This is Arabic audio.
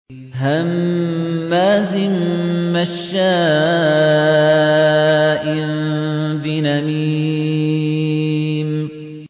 هَمَّازٍ مَّشَّاءٍ بِنَمِيمٍ